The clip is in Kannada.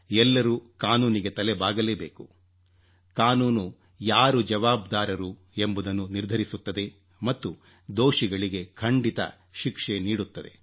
ಎಲ್ಲರೂ ಕಾನೂನಿಗೆ ತಲೆ ಬಾಗಲೇಬೇಕು ಕಾನೂನು ಯಾರು ಜವಾಬ್ದಾರರು ಎಂಬುದನ್ನು ನಿರ್ಧರಿಸುತ್ತದೆ ಮತ್ತು ದೋಷಿಗಳಿಗೆ ಖಂಡಿತ ಶಿಕ್ಷೆ ನೀಡುತ್ತದೆ